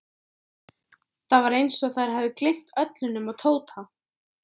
Það var eins og þær hefðu gleymt öllu nema Tóta.